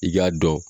I k'a dɔn